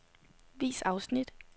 Vis afsnit.